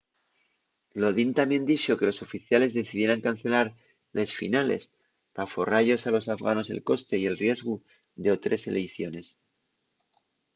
lodin tamién dixo que los oficiales decidieran cancelar les finales p'aforra-yos a los afganos el coste y el riesgu d'otres eleiciones